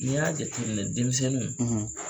I y'a jate minɛ denmisɛnninw;